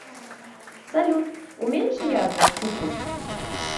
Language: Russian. салют уменьши яркость чуть чуть